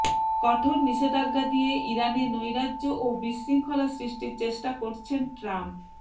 কঠোর নিষেধাজ্ঞা দিয়ে ইরানে নৈরাজ্য ও বিশৃঙ্খলা সৃষ্টির চেষ্টা করছেন ট্রাম্প